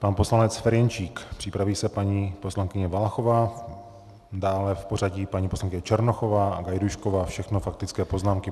Pan poslanec Ferjenčík, připraví se paní poslankyně Valachová, dále v pořadí paní poslankyně Černochová a Gajdůšková, všechno faktické poznámky.